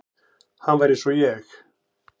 Hann var eins og ég.